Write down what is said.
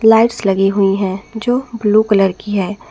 Lights लगी हुई है जो ब्लू कलर की है।